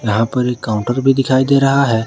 यहां पर एक काउंटर भी दिखाई दे रहा है।